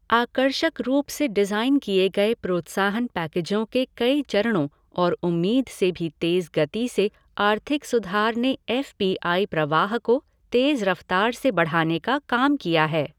आकर्षक रूप से डिज़ाइन किए गए प्रोत्साहन पैकेजों के कई चरणों और उम्मीद से भी तेज गति से आर्थिक सुधार ने एफ़ पी आई प्रवाह को तेज़ रफ़्तार से बढ़ाने का काम किया है।